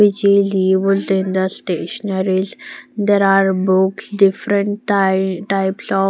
which is in the stationaries there are books different ty types of.